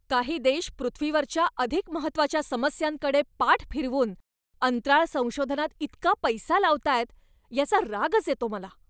काही देश पृथ्वीवरच्या अधिक महत्त्वाच्या समस्यांकडे पाठ फिरवून अंतराळ संशोधनात इतका पैसा लावतायत याचा रागच येतो मला.